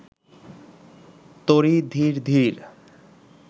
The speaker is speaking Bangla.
তরী ধীর ধীর